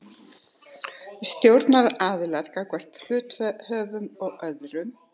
Stjórnunaraðilar gagnvart hluthöfum og öðrum.